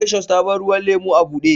Precious ta bar ruwan lemu a bude.